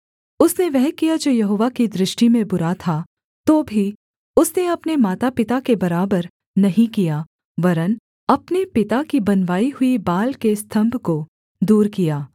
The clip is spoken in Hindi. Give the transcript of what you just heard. उसने वह किया जो यहोवा की दृष्टि में बुरा था तो भी उसने अपने मातापिता के बराबर नहीं किया वरन् अपने पिता की बनवाई हुई बाल के स्तम्भ को दूर किया